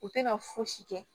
U tɛ ka fosi kɛ